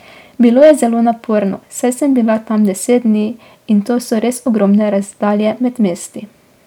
Bilo je zelo naporno, saj sem bila tam deset dni in to so res ogromne razdalje med mesti.